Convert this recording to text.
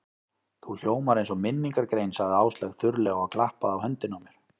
Þú hljómar eins og minningargrein sagði Áslaug þurrlega og klappaði á höndina á mér.